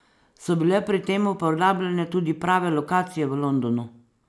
So bile pri tem uporabljene tudi prave lokacije v Londonu?